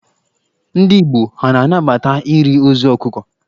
Ndị Igbo ha a na-anabata iri ozu ọkụkọ?